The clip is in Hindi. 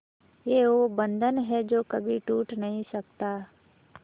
ये वो बंधन है जो कभी टूट नही सकता